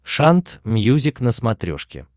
шант мьюзик на смотрешке